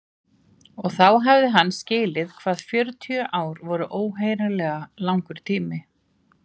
Og þá hafði hann skilið hvað fjörutíu ár voru óheyrilega langur tími.